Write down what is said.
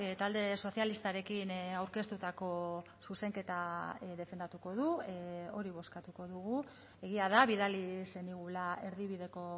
talde sozialistarekin aurkeztutako zuzenketa defendatuko du hori bozkatuko dugu egia da bidali zenigula erdibideko